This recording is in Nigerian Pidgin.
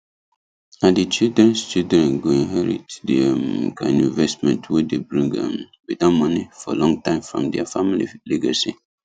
na the childrenchildren go inherit the um kind investment wey dey bring um bettermoney for long time from their family legacy